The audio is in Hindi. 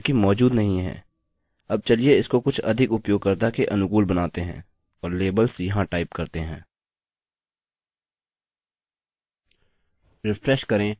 अब चलिए इसको कुछ अधिक उपयोगकर्ता के अनुकूल बनाते हैं और लेबल्स यहाँ टाइप करते हैं